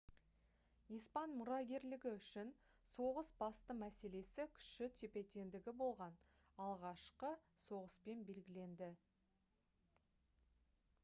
испан мұрагерлігі үшін соғыс басты мәселесі күші тепе-теңдігі болған алғашқы соғыспен белгіленді